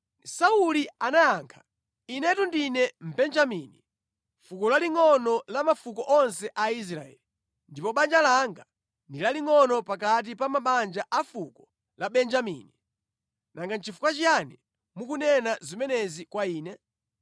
Sauli anayankha, “Inetu ndine Mbenjamini, fuko lalingʼono la mafuko onse a Israeli, ndipo banja langa ndi lalingʼono pakati pa mabanja a fuko la Benjamini. Nanga nʼchifukwa chiyani mukunena zimenezi kwa ine?”